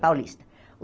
Paulista.